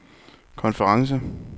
konference